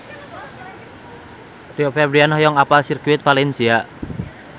Rio Febrian hoyong apal Sirkuit Valencia